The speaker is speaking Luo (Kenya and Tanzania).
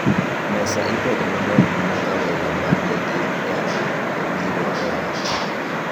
Mesa ipedho maber mana ka welo ma ni gi nyadhi obiro e ot